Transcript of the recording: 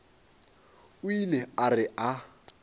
o ile a re a